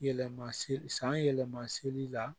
Yɛlɛma se san yɛlɛma seli la